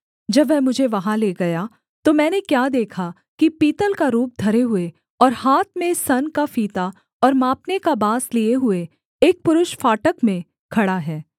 जब वह मुझे वहाँ ले गया तो मैंने क्या देखा कि पीतल का रूप धरे हुए और हाथ में सन का फीता और मापने का बाँस लिए हुए एक पुरुष फाटक में खड़ा है